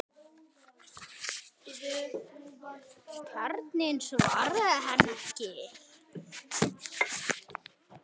Kjartan svaraði henni ekki.